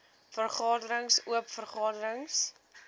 vergaderings oop vergaderings